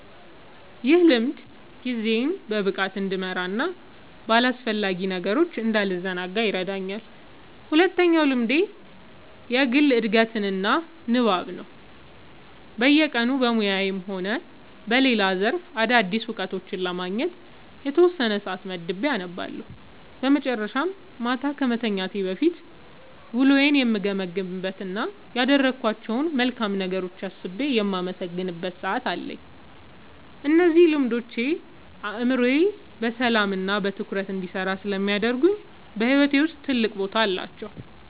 ይህ ልምድ ጊዜዬን በብቃት እንድመራና በአላስፈላጊ ነገሮች እንዳልዘናጋ ይረዳኛል። ሁለተኛው ልምዴ የግል ዕድገትና ንባብ ነው፤ በየቀኑ በሙያዬም ሆነ በሌላ ዘርፍ አዳዲስ እውቀቶችን ለማግኘት የተወሰነ ሰዓት መድቤ አነባለሁ። በመጨረሻም፣ ማታ ከመተኛቴ በፊት ውሎዬን የምገመግምበት እና ያደረግኳቸውን መልካም ነገሮች አስቤ የማመሰግንበት ሰዓት አለኝ። እነዚህ ልምዶች አእምሮዬ በሰላምና በትኩረት እንዲሰራ ስለሚያደርጉ በሕይወቴ ውስጥ ትልቅ ቦታ አላቸው።"